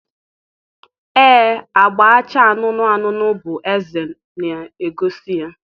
ee agba-acha anụnụ anụnụ bụ eze na ngosi ya